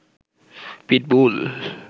pitbull